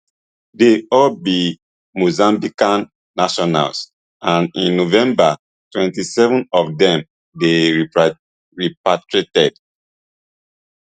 dey all be mozambican nationals and in november twenty-seven of dem dey repatriated